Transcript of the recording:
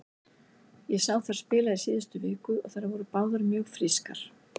Ég sá þær spila í síðustu viku og þær voru báðar mjög frískar.